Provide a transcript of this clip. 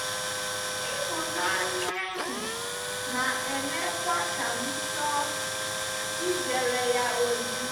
Ịhụnanya ahụ na-emekwa ka m chọọ ijere ya ozi.”